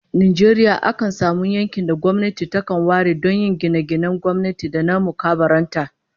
A manyan biranen Najeriya, akan samu yankin da gwamnati takan ware don yin gine-ginen gwamnati da na mukarraban ta